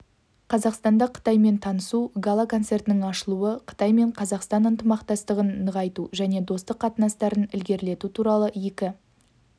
қазақстанда қытаймен танысу гала-концертінің ашылуы қытай мен қазақстан ынтымақтастығын нығайту және достық қатынастарын ілгерілету туралы екі